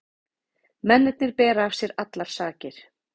Mennirnir bera af sér allar sakir